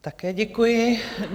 Také děkuji.